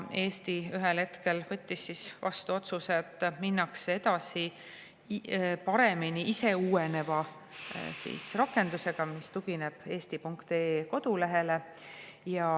Eesti võttis ühel hetkel vastu otsuse, et minnakse edasi paremini, ise uueneva rakendusega, mis tugineb eesti.ee kodulehele.